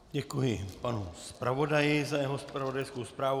Děkuji panu zpravodaji za jeho zpravodajskou zprávu.